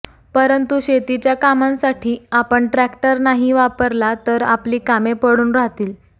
परंतु शेतीच्या कामांसाठी आपण ट्रॅक्टर नाही वापरला तर आपली कामे पडून राहतील